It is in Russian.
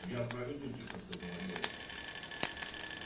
я проведу тихо сказала девушка